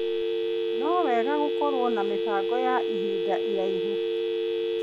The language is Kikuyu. Nĩ wega gũkorwo na mĩbango ya ihinda iraihu.